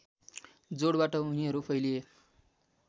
जोडबाट उनीहरू फैलिए